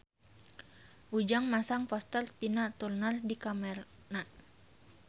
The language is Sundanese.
Ujang masang poster Tina Turner di kamarna